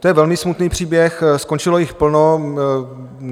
To je velmi smutný příběh, skončilo jich plno.